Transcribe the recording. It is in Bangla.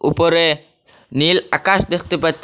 উপরে নীল আকাশ দেখতে পাচ্ছি।